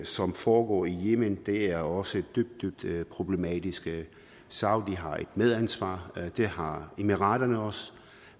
som foregår i yemen er også dybt dybt problematisk saudi arabien har et medansvar det har emiraterne også